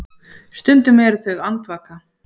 Stundum eru þau andvaka.